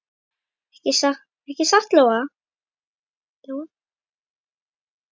Ekki satt, Lóa?